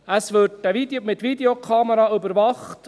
Es wird mit Videokameras überwacht.